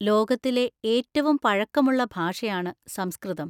ലോകത്തിലെ ഏറ്റവും പഴക്കമുള്ള ഭാഷയാണ് സംസ്‌കൃതം.